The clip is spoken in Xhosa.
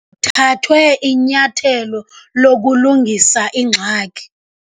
Kuthathwe inyathelo lokulungisa ingxaki.